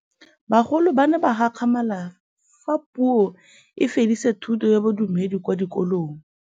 Bagolo ba ne ba gakgamala fa Pusô e fedisa thutô ya Bodumedi kwa dikolong.